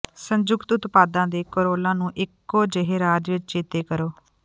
ਸੰਯੁਕਤ ਉਤਪਾਦਾਂ ਦੇ ਕੋਰੋਲਾ ਨੂੰ ਇਕੋ ਜਿਹੇ ਰਾਜ ਵਿੱਚ ਚੇਤੇ ਕਰੋ